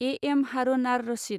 A. M. Harun ar Rashid